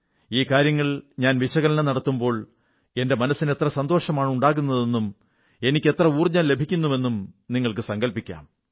ഈ കാര്യങ്ങൾ ഞാൻ വിശകലനം നടത്തുമ്പോൾ എന്റെ മനസ്സിന് എത്ര സന്തോഷമാണുണ്ടാകുന്നതെന്നും എനിക്ക് എത്ര ഊർജ്ജം ലഭിക്കുന്നുവെന്നും നിങ്ങൾക്കു സങ്കല്പിക്കാം